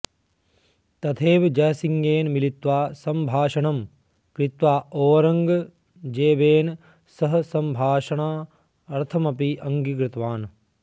तथैव जयसिंहेन मिलित्वा संभाषणं कृत्वा औरङ्गजेबेन सह संभाषणार्थमपि अङ्गीकृतवान्